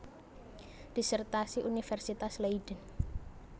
Disertasi Universitas Leiden